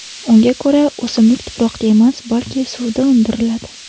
Unga ko‘ra, o‘simlik tuproqda emas, balki suvda undiriladi.